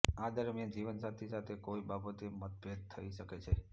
આ દરમિયાન જીવનસાથી સાથે કોઈ બાબતે મતભેદ થઈ શકે છે